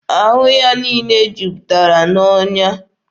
Ahụ ya niile juputara n'ọnya.